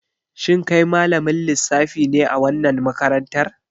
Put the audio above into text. Shin kai malamin lissafi ne a wannan makarantar?